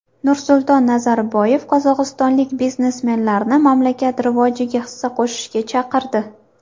Nursulton Nazarboyev qozog‘istonlik biznesmenlarni mamlakat rivojiga hissa qo‘shishga chaqirdi.